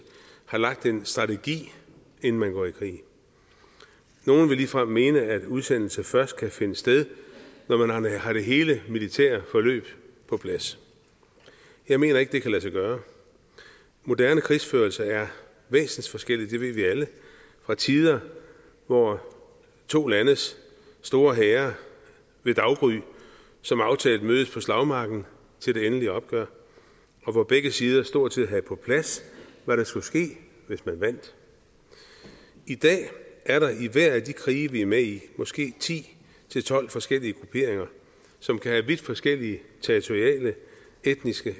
har lagt en strategi inden man går i krig nogle vil ligefrem mene at udsendelse først kan finde sted når man har hele det militære forløb på plads jeg mener ikke at det kan lade sig gøre moderne krigsførelse er væsensforskellig det ved vi alle fra tider hvor to landes store hære ved daggry som aftalt mødtes på slagmarken til det endelige opgør og hvor begge sider stort set havde på plads hvad der skulle ske hvis man vandt i dag er der i hver af de krige vi er med i måske ti til tolv forskellige grupperinger som kan have vidt forskellige territoriale etniske